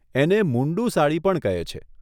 એને મુન્ડું સાડી પણ કહે છે.